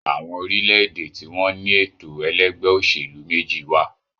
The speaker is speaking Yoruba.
àwọn orílẹ̀-èdè tí wọ́n ní ètò ẹlẹ́gbẹ́-òsèlú méjì wà